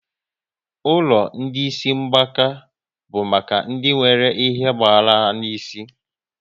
Ụlọ ndị isi mgbaka bụ maka ndị nwéré ihe ogbahara n'isi